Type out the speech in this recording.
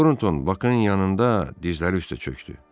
Tornton Bakın yanında dizləri üstə çökdü.